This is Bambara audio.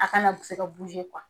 A kana se ka